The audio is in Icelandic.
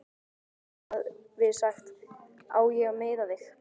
Hann hafi sagt: Á ég að meiða þig?